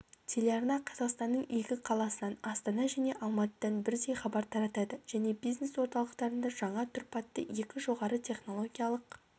телеарна қазақстанның екі қаласынан астана және алматыдан бірдей хабар таратады және бизнес-орталықтарында жаңа тұрпатты екі жоғарытехнологиялық